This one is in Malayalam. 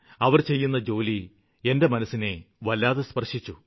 അവര് ചെയ്യുന്ന ജോലി എന്റെ മനസ്സിനെ വല്ലാതെ സ്പര്ശിച്ചു